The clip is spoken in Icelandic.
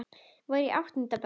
Var í áttunda bekk.